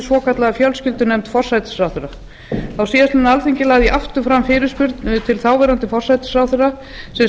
svokallaða fjölskyldunefnd forsætisráðherra á síðastliðnu alþingi lagði ég aftur fram fyrirspurn til þáverandi forsætisráðherra sem